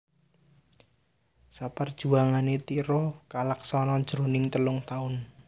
Parjuanganné Tiro kalaksanan jroning telung taun